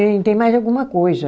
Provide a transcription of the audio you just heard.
Tem, tem mais alguma coisa.